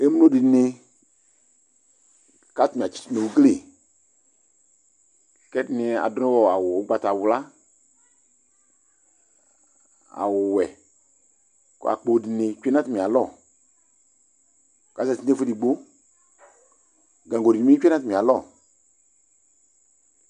emlo di ni ko atani atseto no ugli ko ɛdini ado awu ugbata wla, awu wɛ ko akpo di ni tsue no atami alɔ ko azati no ɛfo edigbo gaŋgo di bi tsue no atami alɔ